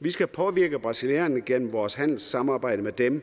vi skal påvirke brasilianerne gennem vores handelssamarbejde med dem